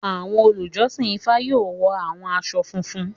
Awọn olujọsin IFA yoo wọ awọn aṣọ funfun.